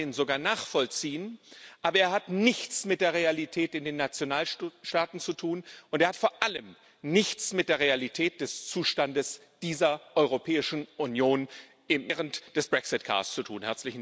Ich kann den sogar nachvollziehen, aber er hat nichts mit der Realität in den Nationalstaaten zu tun, und er hat vor allem nichts mit der Realität des Zustandes dieser Europäischen Union während des Brexit Chaos zu tun.